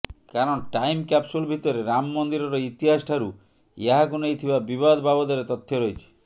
କାରଣ time capsule ଭିତରେ ରାମ ମନ୍ଦିରର ଇତିହାସଠାରୁ ଏହାକୁ ନେଇ ଥିବା ବିବାଦ ବାବଦରେ ତଥ୍ୟ ରହିଛି